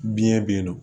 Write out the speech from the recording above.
Biɲɛ be yen nɔ